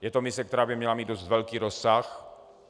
Je to mise, která by měla mít dost velký rozsah.